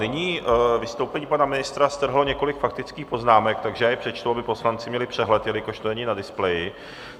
Nyní vystoupení pana ministra strhlo několik faktických poznámek, takže já je přečtu, aby poslanci měli přehled, jelikož to není na displeji.